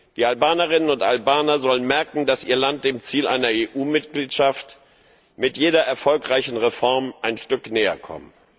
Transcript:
Die Albanerinnen und Albaner sollen merken, dass ihr Land dem Ziel einer EU Mitgliedschaft mit jeder erfolgreichen Reform ein Stück näher kommt.